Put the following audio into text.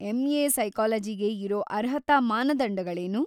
M A. ಸೈಕಾಲಜಿಗೆ ಇರೋ ಅರ್ಹತಾ ಮಾನದಂಡಗಳೇನು?